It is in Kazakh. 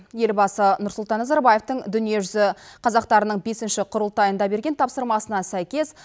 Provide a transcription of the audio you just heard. елбасы нұрсұлтан назарбаевтың дүниежүзі қазақтарының бесінші құрылтайында берген тапсырмасына сәйкес